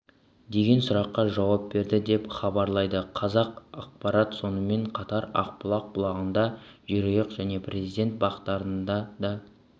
деген сұраққа жауап берді деп іабарлайды қазақпарат сонымен қатар ақбұлақ бұлағында жерұйық және президент бақтарында да